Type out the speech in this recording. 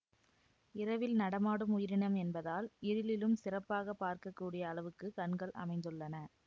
இரவில் நடமாடும் உயிரினம் என்பதால் இருளிலும் சிறப்பாக பார்க்க கூடிய அளவுக்கு கண்கள் அமைந்துள்ளன